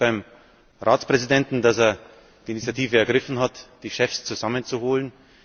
Ich bedanke mich beim Ratspräsidenten, dass er die Initiative ergriffen hat, die Chefs zusammenzuholen.